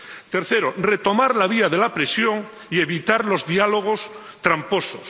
Tercero, retomar la vía de la presión y evitar los diálogos tramposos.